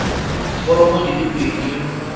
romela diforomo di le pedi